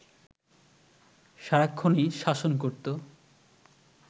সারাক্ষণই শাসন করতো